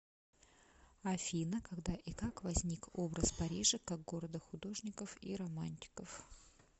афина когда и как возник образ парижа как города художников и романтиков